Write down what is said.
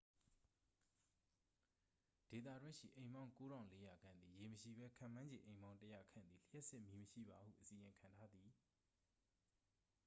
ဒေသတွင်းရှိ အိမ်ပေါင်း 9400 ခန့်သည် ရေမရှိဘဲ ခန့်မှန်းခြေ အိမ်ပေါင်း 100 ခန့်သည် လျှပ်စစ်မီးမရှိပါဟု အစီရင်ခံထားသည်